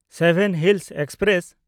seven hills express